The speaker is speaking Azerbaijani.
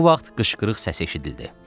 Bu vaxt qışqırıq səsi eşidildi.